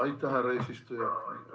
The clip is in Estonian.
Aitäh, härra eesistuja!